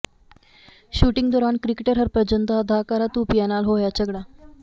shooting ਦੌਰਾਨ cricketer Harbhajan ਦਾ ਅਦਾਕਾਰਾ ਧੂਪੀਆ ਨਾਲ ਹੋਇਆ ਝਗੜਾ